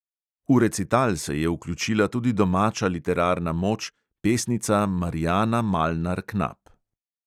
V recital se je vključila tudi domača literarna moč, pesnica marijana malnar knap.